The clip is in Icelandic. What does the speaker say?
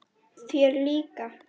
Þér líka?